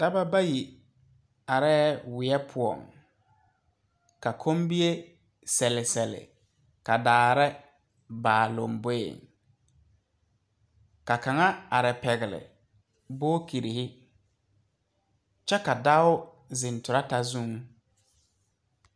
Dɔɔba bayi are wiɛ poɔ, ka komiɛ selesele ka daare ba a lanboɛ ka kaŋa are pegle bookyire kyɛ ka dɔo do zeŋ trata zuŋ.